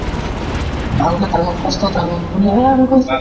ভাল কে থাকক । সুস্থ থাকক বুলিহে আমি কৈছো